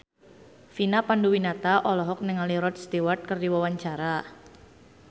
Vina Panduwinata olohok ningali Rod Stewart keur diwawancara